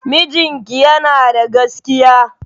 Mijinki yana da gaskiya.